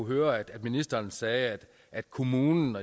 hørt at ministeren sagde at kommunen